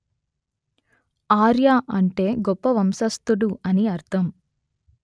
ఆర్య అంటే గొప్ప వంశస్థుడు అని అర్ధం